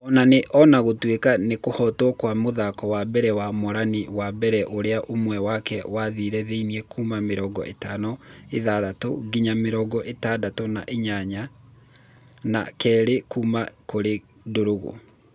O nĩ ona gũtuĩka nĩ kũhotwo kwa mũthako wa mbere wa Morani wa mbere ũrĩa mwena wake wathire thĩĩ kuma mirongo ĩtano na ithathatũ nginya mĩrongo ĩtandato na inyanya na a kerĩ kuma kũri Ndarũgũ.